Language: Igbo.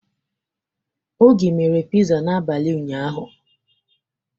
Oge mere Piza n'abalị ụnyaahụ.